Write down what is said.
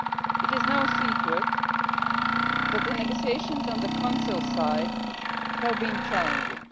It is no secret that the negotiations on the Council side have been challenging.